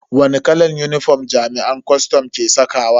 Wani kalan unifom jami'an kwastam ke sakawa?